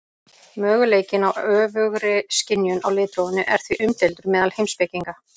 möguleikinn á öfugri skynjun á litrófinu er því umdeildur meðal heimspekinga